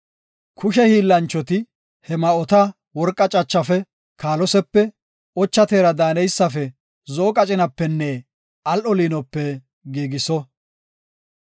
Kushe hiillanchoti he ma7ota worqa cachafe, kaalosepe, ocha teera daaneysafe zo7o qacinapenne al7o liinope giigiso.